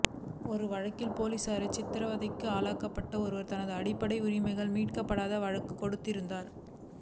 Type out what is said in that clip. ஒரு வழக்கில் பொலிஸாரால் சித்தரவதைக்கு ஆளாக்கப்பட்ட ஒருவர் தனது அடிப்படை உரிமைகள் மீறப்பட்டதாக வழக்குத் தொடுத்திருந்தார்